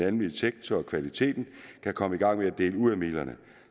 almene sektor og kvaliteten kan komme i gang med at dele ud af midlerne